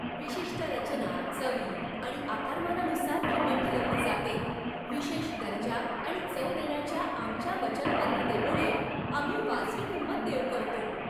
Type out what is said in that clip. विशिष्ट रचना, चवी आणि आकारमानानुसार किंमत ठरवली जाते. विशेष दर्जा आणि चव देण्याच्या आमच्या वचनबद्धतेमुळे आम्ही वाजवी किंमत देऊ करतो!